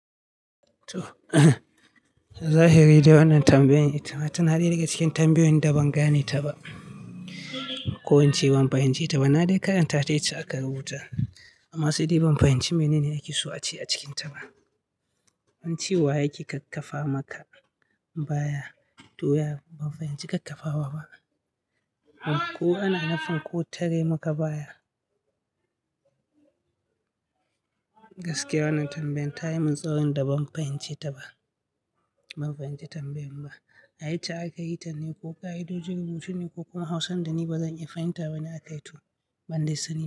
Zahiri dai wannan tambayan ita ma tana daya daga cikin tambayoyin da ban gane ta ba ko ince ban fahimci ta ba. Na dai karanta ta yace aka rubuta amma sai dai ban fahimci mene ne ake so a ce a cikinta ba. Wani cewa yake kakkafa maka baya doya, ban fahimci kakkafawa ba. Ko ana nufin ko tare muka baya? Gaskiya wannan tambayan ta yi min tsaurin da ban fahimce ta ba. Ban fahimci tambayan ba. A yacce aka yi ta ne ko ka'idojin rubutu ne ko kuma Hausan da ni bazan iya fahimta bane aka yi to bandai sani.